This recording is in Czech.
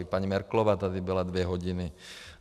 I paní Merkelová tady byla dvě hodiny.